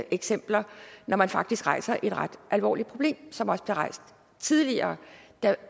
eksempler når man faktisk rejser et ret alvorligt problem som også blev rejst tidligere